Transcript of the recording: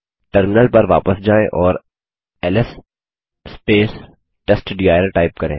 terminal पर वापस जायें और एलएस टेस्टडिर टाइप करें